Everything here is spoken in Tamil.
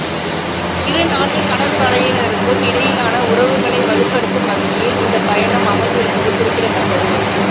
இருநாட்டுக் கடற்படையினருக்கும் இடையிலான உறவுகளை வலுப்படுத்தும் வகையில் இந்தப் பயணம் அமைந்திருப்பது குறிப்பிடத்தக்கது